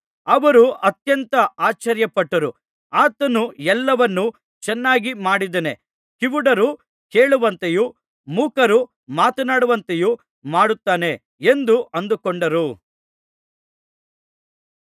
ಅವರು ಅತ್ಯಂತ ಆಶ್ಚರ್ಯಪಟ್ಟು ಆತನು ಎಲ್ಲವನ್ನು ಚೆನ್ನಾಗಿ ಮಾಡಿದ್ದಾನೆ ಕಿವುಡರು ಕೇಳುವಂತೆಯೂ ಮೂಕರು ಮಾತನಾಡುವಂತೆಯೂ ಮಾಡುತ್ತಾನೆ ಎಂದು ಅಂದುಕೊಂಡರು